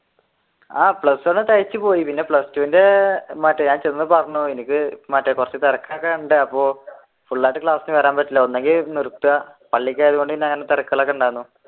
ആഹ് plus one തികച്ചു പോയി പിന്നെ plus two ന്റെ മറ്റേ കുറച്ചു തിരക്കൊക്കെയുണ്ട് അപ്പൊ full ആയിട്ട് ക്ലാസ്സിന് വരാൻ പറ്റില്ല ഒന്നെങ്കി നിർത്തുക അല്ലെങ്കിൽ